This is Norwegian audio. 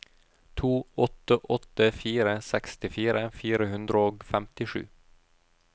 to åtte åtte fire sekstifire fire hundre og femtisju